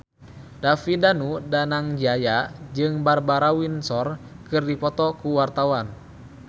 David Danu Danangjaya jeung Barbara Windsor keur dipoto ku wartawan